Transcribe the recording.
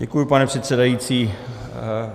Děkuji, pane předsedající.